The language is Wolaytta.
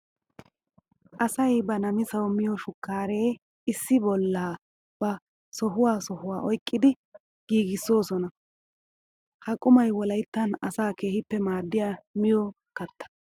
Asay ba namisawu miyo shukare issi bolla ba sohuwa sohuwa oyqqiddi giiggissoosona. Ha qummay wolayttan asaa keehippe maadiya miyo katta.